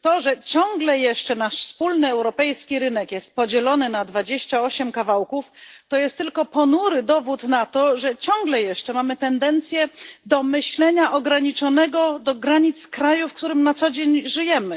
Panie Przewodniczący! To, że ciągle jeszcze nasz wspólny europejski rynek jest podzielony na 28 kawałków, jest tylko ponurym dowodem na to, że ciągle jeszcze mamy tendencje do myślenia ograniczonego do granic kraju, w którym na co dzień żyjemy.